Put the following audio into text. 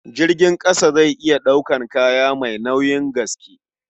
Jirgin ƙasa zai iya ɗaukar kaya mai nauyin gaske.